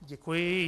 Děkuji.